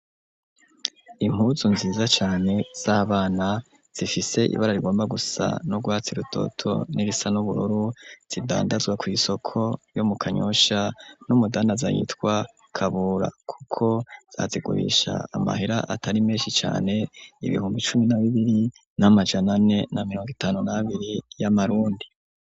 impuzu nziza cane z'abana zifise ibara rigomba gusa no rwutsi rutoto n'irisa n'uburoru zidandazwa ku isoko yo mu kanyosha .Numudandaza yitwa kabura kuko zazigubisha amahira atari menshi cane ibihumbi cumi na bibiri n'amajanane na miriongo itanu na abiri y'amarundi.